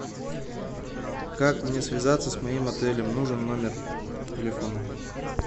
как мне связаться с моим отелем нужен номер телефона